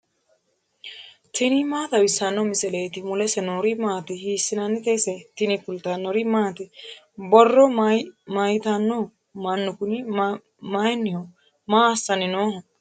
tini maa xawissanno misileeti ? mulese noori maati ? hiissinannite ise ? tini kultannori maati? borro mayiittano? Mannu kunni mayiiniho? Maa assanni nooho?